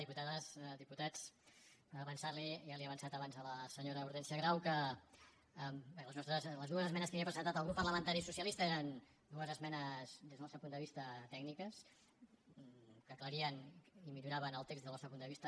diputades diputats avançar li ja li ho he avançat abans a la senyora hortènsia grau que bé les dues esmenes que ha presentat el grup parlamentari socialista eren dues esmenes des del nostre punt de vista tècniques que aclarien i milloraven el text des del nostre punt de vista